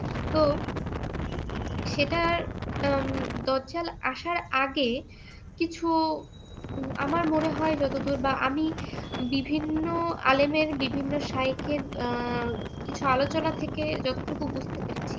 তো সেটা হম দাজ্জাল আসার আগে কিছু আমার মনে হয় যতদূর বা আমি বিভিন্ন আলেমের বিভিন্ন শায়েখের আহ কিছু আলোচনা থেকে যতটুকু বুঝতে পেরেছি